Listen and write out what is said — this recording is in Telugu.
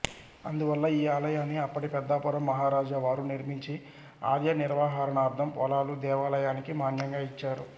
అందువల్ల ఈ ఆలయాన్ని అప్పటి పెద్దాపురం మహారాజావారు నిర్మించి ఆలయ నిర్వహణార్థం పొలాలు దేవాలయానికి మాన్యంగా ఇచ్చారు